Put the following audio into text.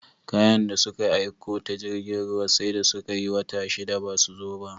Kayan da suka aiko ta jirgin ruwa sai da suka yi wata shida basu zo ba